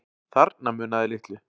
Þarna munaði litlu